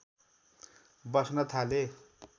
बस्न थाले